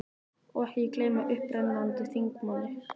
Og ekki má gleyma upprennandi þingmanni